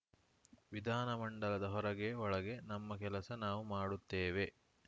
ವಿಧಾನಮಂಡಲದ ಹೊರಗೆ ಒಳಗೆ ನಮ್ಮ ಕೆಲಸ ನಾವು ಮಾಡುತ್ತೇವೆ